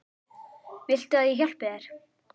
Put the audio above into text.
Viltu að ég hjálpi þér?